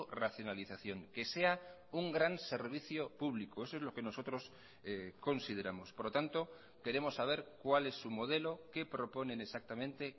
racionalización que sea un gran servicio público eso es lo que nosotros consideramos por lo tanto queremos saber cuál es su modelo qué proponen exactamente